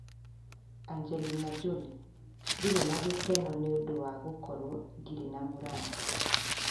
Angelina Jolie: "Ndirĩ na gĩkeno nĩ ũndũ wanĩ ũndũ wa gũkorũo ndirĩ na mũrata."